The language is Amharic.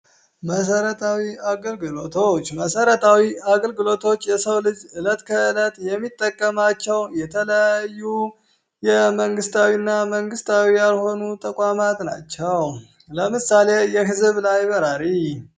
መሰረታዊ አገልግሎቶች መሰረታዊ አገልግሎቶች የሰው ልጅ እለት ከእለት የሚጠቀማቸው የተለያዩ መንግስታዊ እና መንግስታዊ ያለሆኑ ተቋማት ናቸው። ለምሳሌ የህዝብ ላይብራሪ።